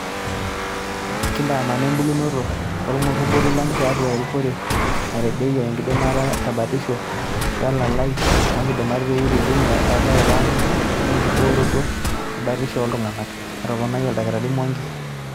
"Kintaamana ebulunoto oolngobori lang tiatuaa enrikoree naitadedeyie enkidimata tebatisho, welalai oonkidimat pee itujungu erasaroto ang wenkibooroto ebatishoo ooltungak." Etoponikia Oldakitari Mwangi